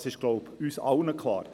Das ist uns allen klar.